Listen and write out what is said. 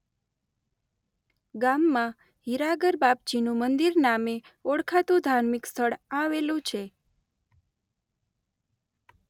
ગામમાં હિરાગરબાપજીનું મંદિર નામે ઓળખાતું ધાર્મિક સ્થળ આવેલું છે.